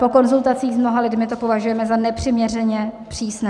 Po konzultacích s mnoha lidmi to považujeme za nepřiměřeně přísné.